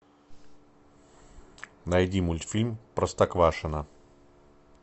найди мультфильм простоквашино